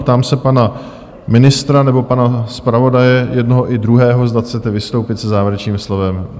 Ptám se pana ministra nebo pana zpravodaje, jednoho i druhého, zda chcete vystoupit se závěrečným slovem?